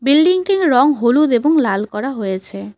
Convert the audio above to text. বিল্ডিংটির রং হলুদ এবং লাল করা হয়েছে।